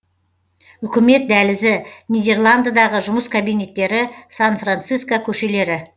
үкімет дәлізі нидерландыдағы жұмыс кабинеттері сан франциско көшелері